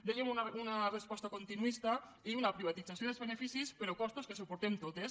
dèiem una resposta continuista i una privatització dels beneficis però costos que suportem totes